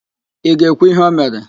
Ị ga-ekwu íhé o mere?